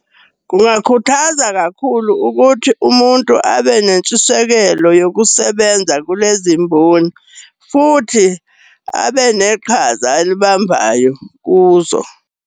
Kungakhuthaza kakhulu ukuthi umuntu abe nentshisekelo yokusebenza kulezi mboni. Futhi abe neqhaza alibambayo kuzo.